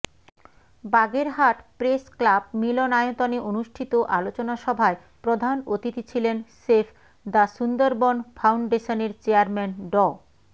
Bagerhat press club মিলনায়তনে অনুষ্ঠিত আলোচনাসভায় প্রধান অতিথি ছিলেন সেভ দ্য সুন্দরবন ফাউন্ডেশনের চেয়ারম্যান ড